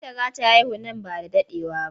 Binta za ta haihu man ba da daɗewa ba.